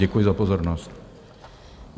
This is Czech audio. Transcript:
Děkuji za pozornost.